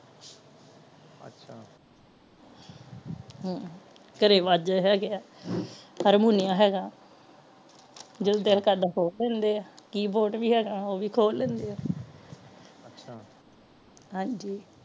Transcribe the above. ਹਮ ਘਰੇ ਵਾਜੇ ਹੈਗੇ ਹਾਰਮੋਨੀਆ ਹੈਗਾ ਜਿਦੋ ਦਿਲ ਕਰਦਾ ਖੋਲ ਲੈਂਦੇ ਆ keyboard ਵੀ ਹੇਗਾ ਉਹ ਵੀ ਖੋਲ ਲੈਂਦੇ ਆ ਅੱਛਾ ਹਾਂਜੀ